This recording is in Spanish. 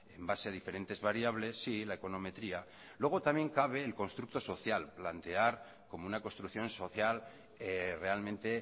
en base a diferentes variables sí la econometría luego también cabe el constructo social plantear como una construcción social realmente